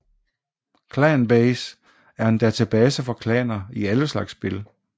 ClanBase er en database for klaner i alle slags spil